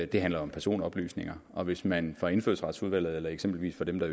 det handlede om personoplysninger og hvis man fra indfødsretsudvalget eller eksempelvis fra dem der